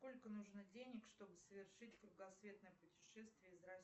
сколько нужно денег чтобы совершить кругосветное путешествие из